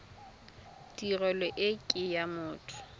tirelo e ke ya motho